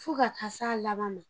Fo ka taa se a laban ma